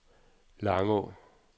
Langå